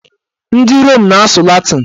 Ndị Rom na-asụ latịn